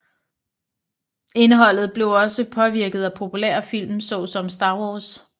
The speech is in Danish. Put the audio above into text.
Indholdet blev også påvirket af populære film så som Star Wars